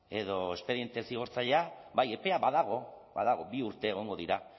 edo espediente zigortzailea bai epea badago badago bi urte egongo dira